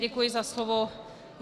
Děkuji za slovo.